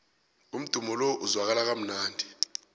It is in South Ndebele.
umdumo lo uzwakala kamnandi